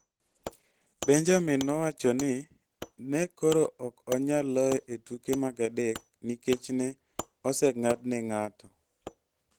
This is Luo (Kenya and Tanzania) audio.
Benjamin nowacho ni, "Ne koro ok onyal loye e tuk mar adek nikech ne oseng'adne ng'ato.